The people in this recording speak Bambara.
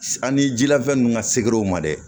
Ani jilafɛn ninnu ka se gɛriw ma dɛ